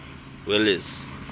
welles